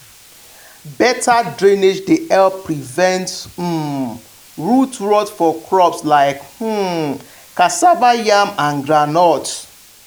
better drainage dey help prevent um root rot for crops like um cassava yam and groundnut.